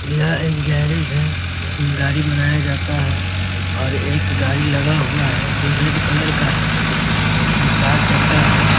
यह एक गैरेज है जिसमें गाड़ी बनाया जाता है और एक गाड़ी लगा हुआ है जो रेड कलर का है और इसमें चार चक्का है।